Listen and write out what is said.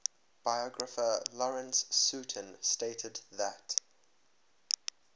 biographer lawrence sutin stated that